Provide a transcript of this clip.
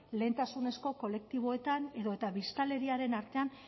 lehentasunezko kolektiboetan edo eta biztanleriaren artean